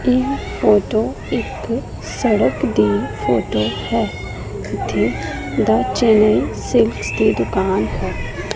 ਇਹ ਫੋਟੋ ਇੱਕ ਸੜਕ ਦੀ ਫੋਟੋ ਹੈ ਜਿੱਥੇ ਦ ਚੇਨਈ ਸਿਲਕਸ ਦੀ ਦੁਕਾਨ ਹੈ।